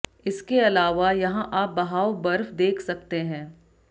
इसके अलावा यहां आप बहाव बर्फ देख सकते हैं